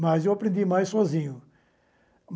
Mas eu aprendi mais sozinho.